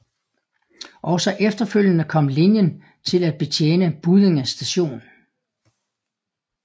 Også efterfølgende kom linjen til at betjene Buddinge st